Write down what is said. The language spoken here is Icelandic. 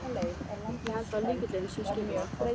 Ég held að lykillinn sé skipulag.